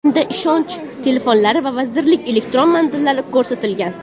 Unda ishonch telefonlari va vazirlik elektron manzili ko‘rsatilgan.